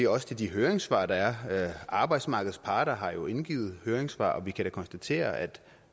også til de høringssvar der er arbejdsmarkedets parter har jo indgivet høringssvar og vi kan da konstatere at